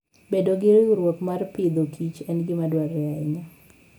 Bedo gi riwruok mar Agriculture and Food en gima dwarore ahinya.